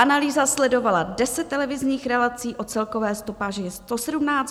Analýza sledovala deset televizních relací o celkové stopáži 117 hodin a 35 minut.